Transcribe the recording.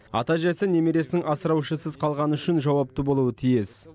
ата әжесі немересінің асыраушысыз қалғаны үшін жауапты болуы тиіс